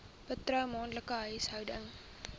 bruto maandelikse huishoudelike